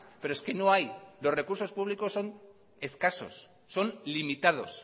pero es que no hay los recursos públicos son escasos son limitados